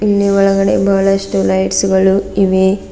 ಇಲ್ಲಿ ಒಳಗಡೆ ಬಹಳಷ್ಟು ಲೈಟ್ಸ್ ಗಳು ಇವೆ.